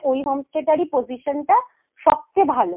ওই homestay টারই position সবচেয়ে ভালো